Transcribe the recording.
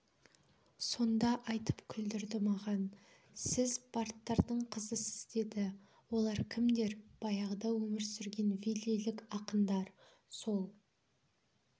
сонда айтып күлдірді маған сіз бардтардың қызысыз деді олар кімдер баяғыда өмір сүрген валлилік ақындар сол